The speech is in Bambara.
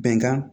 Bɛnkan